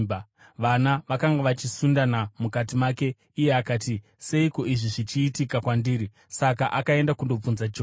Vana vakanga vachisundana mukati make, iye akati, “Seiko izvi zvichiitika kwandiri?” Saka akaenda kundobvunza Jehovha.